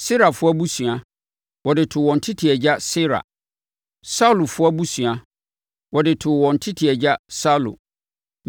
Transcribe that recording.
Serafoɔ abusua, wɔde too wɔn tete agya Serah; Saulfoɔ abusua, wɔde too wɔn tete agya Saulo.